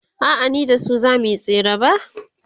a'a ni da su zamuyi tsere ba